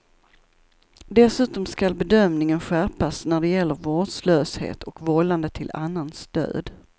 Dessutom skall bedömningen skärpas när det gäller vårdslöshet och vållande till annans död.